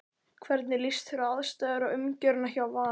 Hvernig líst þér á aðstæður og umgjörðina hjá Val?